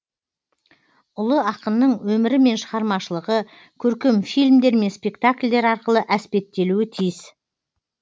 ұлы ақынның өмірі мен шығармашылығы көркем фильмдер мен спектакльдер арқылы әспеттелуі тиіс